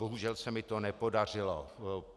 Bohužel se mi to nepodařilo.